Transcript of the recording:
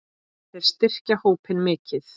Þeir styrkja hópinn mikið.